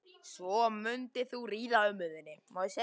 ef hann hefur ekki umboð til að gera viðkomandi löggerning.